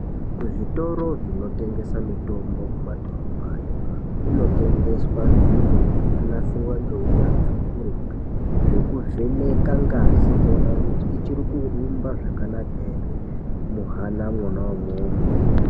Kuzvitoro zvinotengesa mitombo kumadhorobhayo kunotengeswa zviro zvakanasirwa ngeunyatsvi ukurutu zvekuvheneka ngazi kuonekuti ichi kurumba zvakanaka ere muhana mwona imwomwo.